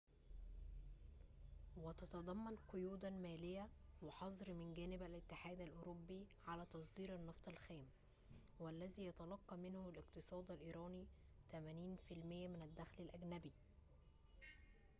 وتتضمن قيوداً مالية وحظر من جانب الاتحاد الأوروبي على تصدير النفط الخام والذي يتلقى منه الاقتصاد الإيراني 80% من الدخل الأجنبي